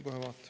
Kohe vaatan.